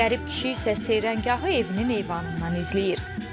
Qərib kişi isə seyrəngahı evinin eyvanından izləyir.